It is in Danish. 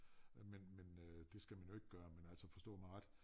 Men men øh det skal man jo ikke gøre men altså forstå mig ret